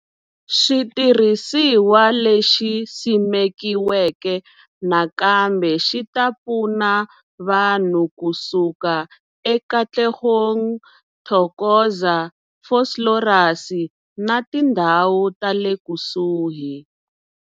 Xitirhisiwa lexi simekiweke nakambe xi ta pfuna vanhu ku suka eKatlehong, Thokoza, Vosloorus na tindhawu ta le kusuhi.